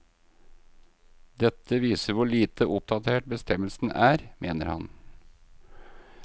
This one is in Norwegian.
Dette viser hvor lite oppdatert bestemmelsen er, mener han.